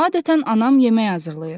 Adətən anam yemək hazırlayır.